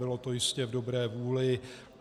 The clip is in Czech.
Bylo to jistě v dobré vůli.